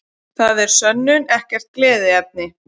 Það verður að sönnu ekkert gleðiefni